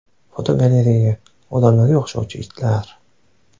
Fotogalereya: Odamlarga o‘xshovchi itlar.